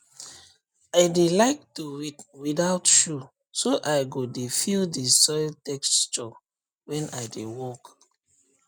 i dey like to weed without shoe so i go dey feel the soil texture wen i dey work